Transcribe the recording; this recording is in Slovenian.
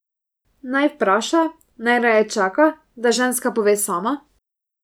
Naj vpraša, naj raje čaka, da ženska pove sama?